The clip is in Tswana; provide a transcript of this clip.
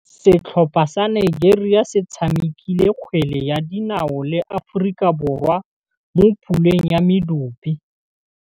Setlhopha sa Nigeria se tshamekile kgwele ya dinaô le Aforika Borwa mo puleng ya medupe.